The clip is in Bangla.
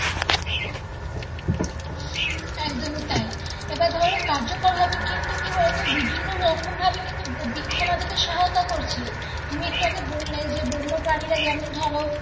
একদমই তাই এবার ধরো কার্যকর হবে কিন্তু কি বলতো বিভিন্ন রকমভাবে কিন্তু বৃক্ষ আমাদের সহায়তা করছে তুমি একটু আগে বললে যে বন্য প্রানীরা যেমন ধরো,